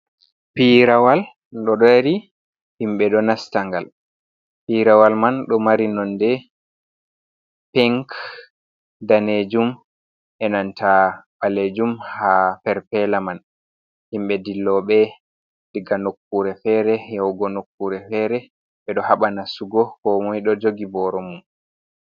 Piirawal do dari himɓe ɗo nasta ngal, piirawal man ɗo mari nonde pink, danejum, enanta balejum, ha perpela man. himɓe dilloɓe diga nokkure fere yahugo nokkure fere ɓe ɗo haba nastugo ko moi do jogi boro mum.